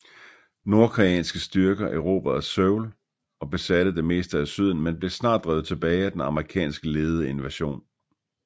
Nordkoreanske styrker erobrede Seoul og besatte det meste af syden men blev snart drevet tilbage af den amerikansk ledede invasion